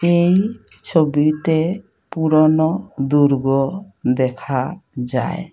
এই ছবিতে পুরোনো দুর্গ দেখা যায়।